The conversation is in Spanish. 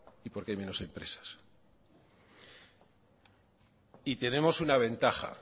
y porque hay menos empresas